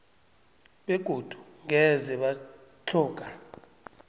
begodu ngeze batlhoga